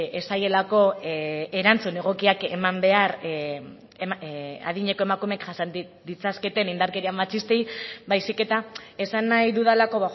ez zaielako erantzun egokiak eman behar adineko emakumeek jasan ditzaketen indarkeria matxistei baizik eta esan nahi dudalako